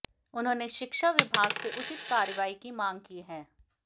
उन्होंने शिक्षा विभाग से उचित कार्रवाई की मांग की है